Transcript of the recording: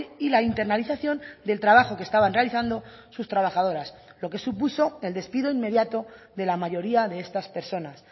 y la internalización del trabajo que estaban realizando sus trabajadoras lo que supuso el despido inmediato de la mayoría de estas personas